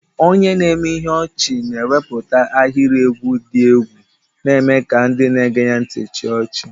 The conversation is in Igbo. Onye na-eme ihe ọchị na-ewepụta ahịrị egwu dị egwu, na-eme ka ndị na-ege ntị chịa ọchị.